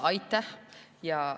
Aitäh!